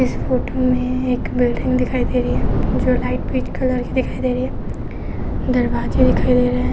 इस फोटो में एक बिल्डिंग दिखाई दे रही है जो लाइट पीच कलर की दिखाई दे रही है। दरवाजे दिखाई दे रहे हैं।